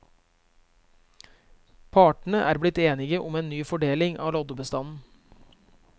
Partene er blitt enige om en ny fordeling av loddebestanden.